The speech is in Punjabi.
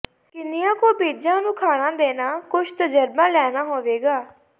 ਕਿੰਨੀਆਂ ਕੁ ਬੀਜਾਂ ਨੂੰ ਖਾਣਾ ਦੇਣਾ ਕੁਝ ਤਜਰਬਾ ਲੈਣਾ ਹੋਵੇਗਾ